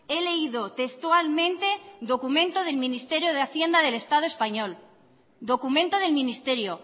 he leído textualmente documento del ministerio de hacienda del estado español documento del ministerio